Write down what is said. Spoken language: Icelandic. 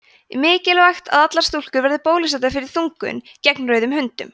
mikilvægt að allar stúlkur verði bólusettar fyrir þungun gegn rauðum hundum